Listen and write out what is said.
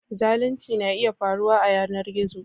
Zalunci na iya faruwa a yanar gizo